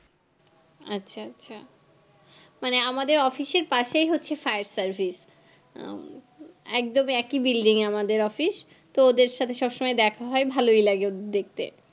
আচ্ছা আচ্ছা মানে আমাদের office এর পশেই হচ্ছে fire service হম একদম একই building এ আমাদের office তো ওদের সাথে সবসময় দেখা হয় ভালোই লাগে ওদের দেখতে